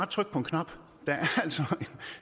trykke på en knap der er altså